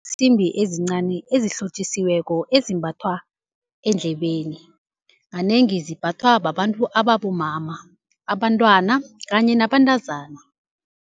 Ziinsimbi ezincani ezihlotjisiweko ezimbathwa endlebeni, kanengi zimbathwa babantu ababomama, abantwana kanye nabantazana.